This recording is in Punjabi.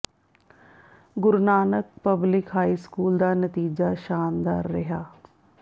ਗੁਰੂ ਨਾਨਕ ਪਬਲਿਕ ਹਾਈ ਸਕੂਲ ਦਾ ਨਤੀਜਾ ਸ਼ਾਨਦਾਰ ਰਿਹਾ